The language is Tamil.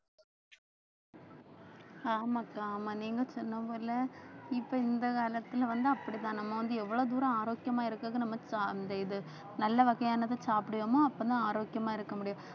ஆமாக்கா ஆமா நீங்க சொன்ன ஊர்ல இப்ப இந்த காலத்துல வந்து அப்படிதான் நம்ம வந்து எவ்வளவு தூரம் ஆரோக்கியமா இருக்கறது நம்ம த~ அந்த இது நல்ல வகையானதை சாப்பிடுவோமோ அப்பதான் ஆரோக்கியமா இருக்க முடியும்